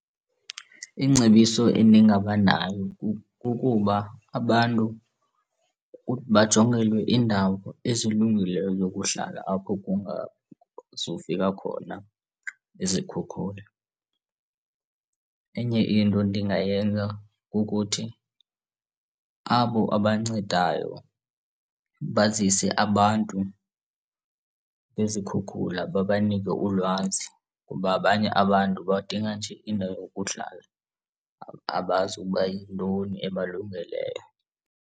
Ingcebiso endingaba nayo kukuba abantu bajongelwe iindawo ezilungileyo zokuhlala apho kungazufika khona izikhukhula. Enye into endingayenza kukuthi abo abancedayo bazise abantu bezikhukhula babanike ulwazi kuba abanye abantu badinga nje indawo yokuhlala, abazi ukuba yintoni ebalungeleyo.